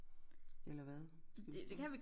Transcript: Eller hvad skal vi ikke prøve